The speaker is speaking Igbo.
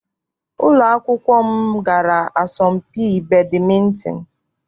Ụlọ akwụkwọ m gara asọmpi badịmịntịn.